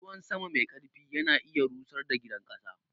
Ruwan sama mai ƙarfi ya na iya rusar da gidan ƙasa.